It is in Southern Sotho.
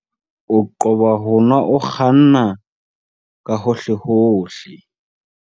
O qoba ho nwa o kganna ka hohlehohle.